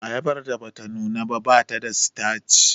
Ayabar da bata nuna ba bata da sitaci